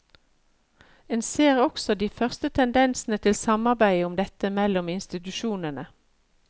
En ser også de første tendensene til samarbeid om dette mellom institusjonene.